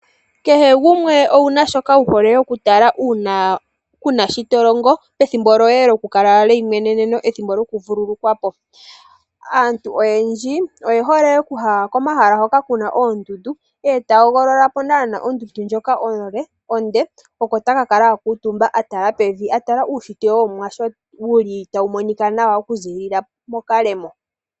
Kehe gumwe owuna shoka wuhole okutala uuna kuuna shi tolongo pethimbo pethimbo lyoye lyokukala lyeimweneneno pethimbo lyokuvulukwapo. Aantu oyendji oye hole okuya komahala hoka kuna oondundu , eta hogolola naanaa ondundu ndjoka onde oko takakala akuutumba atala pevi atala uunshitwe wOmuwa sho wuli tawu monika nawa mokalemo.